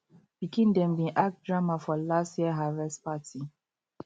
pikin dem bin act drama for last year harvest party